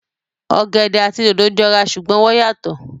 Ọ̀gẹ̀dẹ̀ àti dòdò jọ ra ṣùgbọ́n wọ́n yàtọ̀